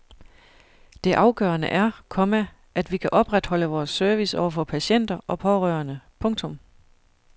Det afgørende er, komma at vi kan opretholde vores service over for patienter og pårørende. punktum